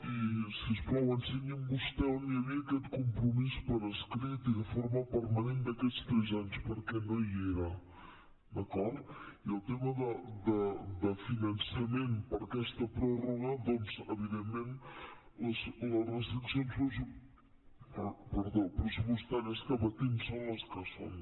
i si us plau ensenyi’m vostè on hi havia aquest compromís per escrit i de forma permanent d’aquests tres anys perquè no hi era d’acord i en el tema de finançament per a aquesta pròrroga doncs evidentment les restriccions pressupostàries que patim són les que són